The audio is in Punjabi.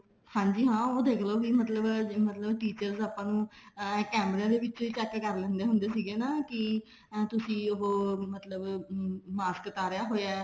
ਹਾਂਜੀ ਹਾਂ ਉਹ ਦੇਖਲੋ ਵੀ ਮਤਲਬ teachers ਆਪਾਂ ਨੂੰ ਅਮ ਕੇਮਰੀਆਂ ਦੇ ਵਿੱਚ check ਕਰ ਲੈਂਦੇ ਹੁੰਦੇ ਸੀਗੇ ਹਨਾ ਵੀ ਤੁਸੀਂ ਉਹ ਮਤਲਬ ਮਾਸਕ ਉਤਾਰਿਆ ਹੋਇਆ